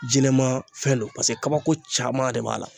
jinɛmaafɛn don pase kabako caman de b'a la.